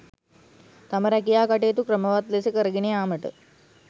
තම රැකියා කටයුතු ක්‍රමවත් ලෙස කරගෙන යාමට